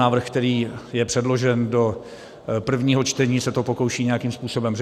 Návrh, který je předložen do prvního čtení, se to pokouší nějakým způsobem řešit.